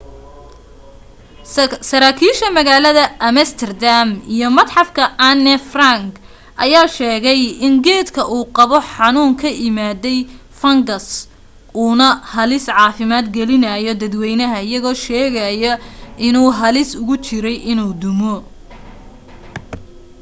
saraakiisha magaalada amsterdam iyo matxafka anne frank ayaa sheegay in geedka uu qabo xanuun ka imaaday fungus uu na halis caafimaad gelinaayo dadwaynaha iyagoo sheegaayo inuu halis ugu jiray inuu dumo